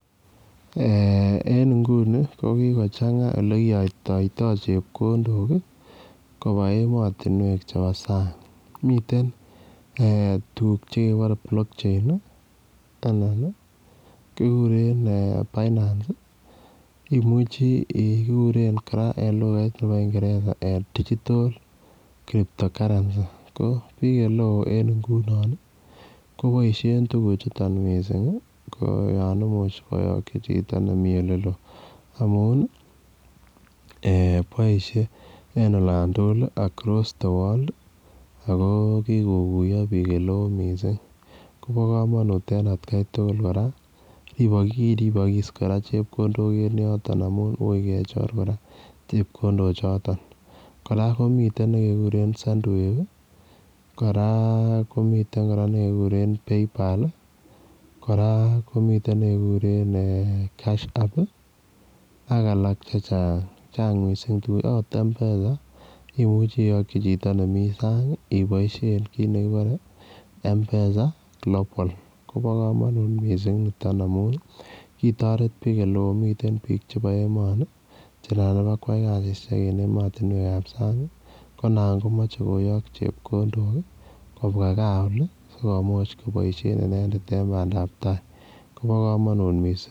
Eeh en inguni ko kokochang'aa olekiyoktoitoo chepkondok kobaa emotinwek chebo sang miten eeh tuguk chekebore block chain ii anan ii kikuren binance ii imuche kora ikuren digital crypto currency koo biik eleo en ingunon ii koboisien tuguchuton missing koo yon imuche koyokyik chito nemii oleloo amun ii eeh boisie en olan tugul across the world akoo kikokuiyo biik eleo missing kobo komonut en atkai tugul kora kiribokis kora chepkondok en yoton amun ui kechor kora chepkondochoton kora komiten nekekuren 'send wave' ii koraa komiten nekekuren 'paypal' ii, koraa komiten nekekuren 'cash app' ak alak chechang, chang missing tuguchu akot M-pesa imuche iyokyi chito nemi sang iboisien kit nekibore m-pesa global, kobo komonut missing niton amun kitoret biik eleo miten biik chebo emoni chenan ibakwai kasisiek en emotinwekab sang konan komoche koyok chepkondok kobwaa gaa olii sikomuch koboisien inendet en bandab tai kobo komonut missing.